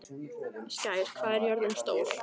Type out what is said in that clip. Skær, hvað er jörðin stór?